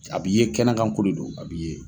A b'i ye kɛnɛkanko de don, a b'i ye.